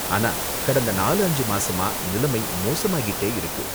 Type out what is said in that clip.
ஆனா, கடந்த நாலு அஞ்சு மாசமா நிலைமை மோசமாகிட்டே இருக்கு.